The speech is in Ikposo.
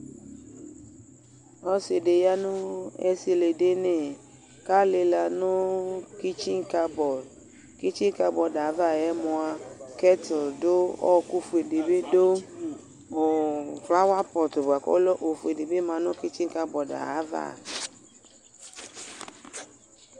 Ɔsɩ ɖɩ ƴa nʋ esiliɖini; ƙʋ alɩla nʋ ƙintsinkabɔɖƘintsinƙabɔɖɛ ava ƴɛ mʋa, ƙɛts ɖʋ,ɔƙʋ ƒue ɖɩ bɩ ɖʋƑlawapɔtʋ bʋa ƙʋ ɔlɛ oƒue bɩ ma nʋ ƙintsinƙanɔɖ ƴɛ ava